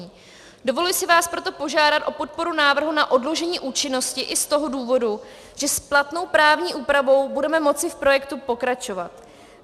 Dovoluji si vás proto požádat o podporu návrhu na odložení účinnosti i z toho důvodu, že s platnou právní úpravou budeme moci v projektu pokračovat.